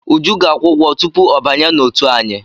Uju ga-akwụ ụgwọ tupu ọ banye n'òtù anyị.